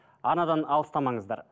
арнадан алыстамаңыздар